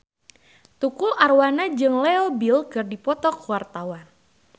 Tukul Arwana jeung Leo Bill keur dipoto ku wartawan